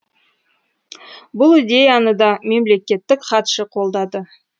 бұл идеяны да мемлекеттік хатшы қолдады